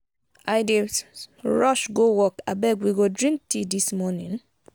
i dey rush go work abeg we go drink tea dis morning.